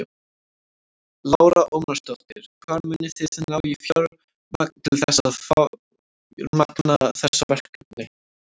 Lára Ómarsdóttir: Hvar munið þið ná í fjármagn til þess að fjármagna þessi verkefni?